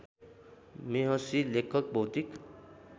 मेहसि लेखक बौद्धिक